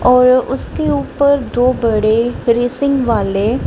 और उसके ऊपर दो बड़े रेसिंग वाले--